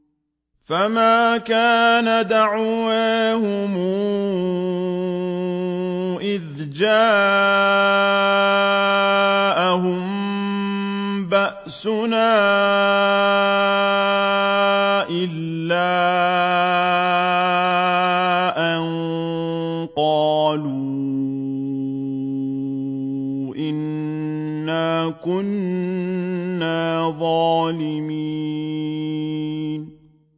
فَمَا كَانَ دَعْوَاهُمْ إِذْ جَاءَهُم بَأْسُنَا إِلَّا أَن قَالُوا إِنَّا كُنَّا ظَالِمِينَ